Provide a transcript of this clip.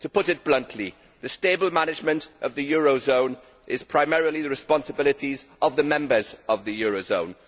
To put it bluntly, the stable management of the eurozone is primarily the responsibility of the members of the eurozone.